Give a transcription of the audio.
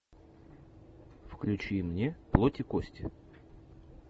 включи мне плоть и кости